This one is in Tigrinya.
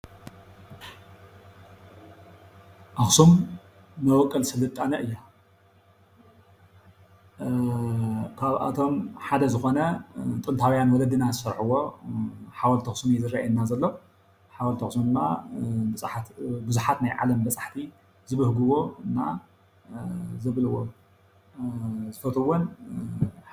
ኣኽሱም መቦቆል ስልጣነ እያ። አአ ኻብኣቶም ሓደ ዞኾነ ጥንታውያን ወለድና ዝሰርሕዎ ሓወልቲ ኣኽሱም እዩ ይርአየና ዘሎ። ሓወልቲ ኣኽሱም ድማ ቡዙሓት ናይ ዓለም በፃሕቲ ዝብህግዎን ዝፈትውዎን እዩ።